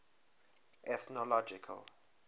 ethnological